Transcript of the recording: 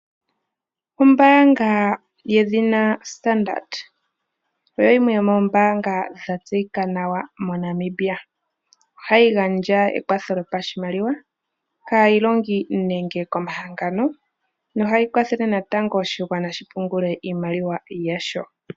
Ombaanga yedhina Stardard oyimwe yomoombanga dhatseyika nawa moNamibia. Ohayi gandja ekwatho lyopashimaliwa kaayilongi nenge komahangano, nohayi kwathele natango oshigwana shi pungule iimaliwa yasho.